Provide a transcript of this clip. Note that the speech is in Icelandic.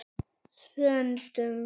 Söndum